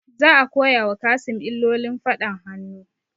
Za a koya wa Kassim illolin faɗan hannu